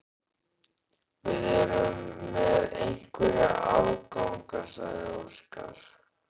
Við erum með einhverja afganga, sagði Óskar.